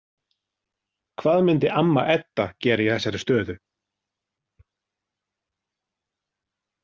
Hvað myndi amma Edda gera í þessari stöðu?